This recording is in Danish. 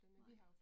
Nej